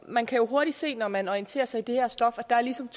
man kan jo hurtigt se når man orienterer sig i det her stof at der ligesom